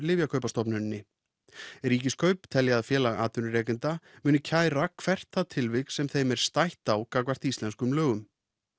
lyfjakaupastofnuninni Ríkiskaup telja að Félag atvinnurekenda muni kæra hvert það tilvik sem þeim er stætt á gagnvart íslenskum lögum